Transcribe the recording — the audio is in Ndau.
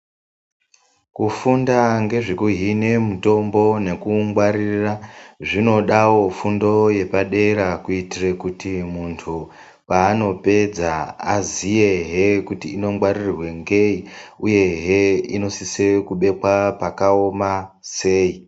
Kufunda ngezvekuhine mutombo nekuungwaririra zvinodawo fundo yepadera kuitire kuti muntu paanopedza aziyehe kuti inongwaririrwe ngei uyehe inosise kubekwa pakaoma sei.